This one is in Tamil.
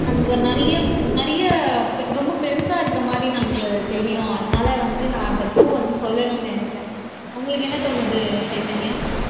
நமக்கு நிறைய நிறைய பெ ரொம்ப பெருசா இருக்கிற மாதிரி நமக்கு தெரியும் அதனால வந்து நான் அந்த பூ வந்து சொல்லணும்னு நினைச்சேன் உங்களுக்கு என்ன தோணுது சைதன்யா